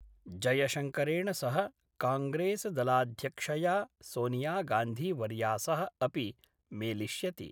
जयशंकरेण सह कांग्रेस्दलाध्यक्षया सोनियागांधीवर्या सह अपि मेलिष्यति।